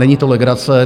Není to legrace.